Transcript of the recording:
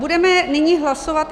Budeme nyní hlasovat.